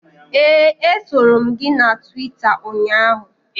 Ee, esoro m gị na Twita ụnyaahụ